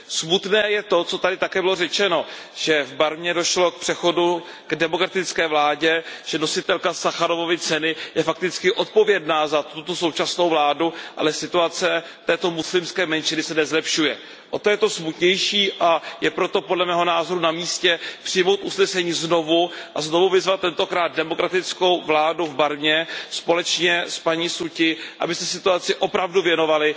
Smutné je to, co tady také bylo řečeno, že v Barmě došlo k přechodu k demokratické vládě, že nositelka Sacharovovy ceny je fakticky odpovědná za tuto současnou vládu, ale situace této muslimské menšiny se nezlepšuje. O to je to smutnější a je proto podle mého názoru na místě přijmout usnesení znovu a znovu vyzvat tentokrát demokratickou vládu v Barmě společně s paní Su Ťij, aby se situaci opravdu věnovala.